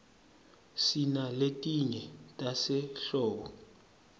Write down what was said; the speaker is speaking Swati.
sinaletinye tasehlobo